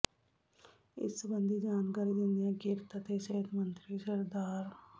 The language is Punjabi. ਇਸ ਸਬੰਧੀ ਜਾਣਕਾਰੀ ਦਿੰਦਿਆਂ ਕਿਰਤ ਅਤੇ ਸਿਹਤ ਮੰਤਰੀ ਸ